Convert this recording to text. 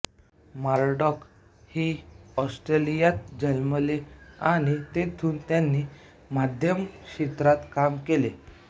Murdoch हि ऑस्ट्रेलियात जन्मले आणि तेथूनच त्यांनी माध्यम क्षेत्रात काम सुरू केले